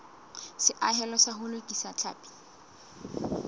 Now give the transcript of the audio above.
seahelo sa ho lokisa tlhapi